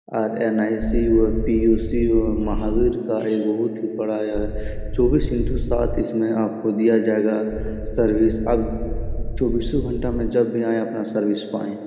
RNICU. और पि.यू.सी.यू. महावीर का यह बहुत ही बड़ा यह चौबीसो इंटू सात इसमे आपको दिया जाएगा सर्विस अब चौबीसो घंटा में जब भी आए अपना सर्विस पाएं।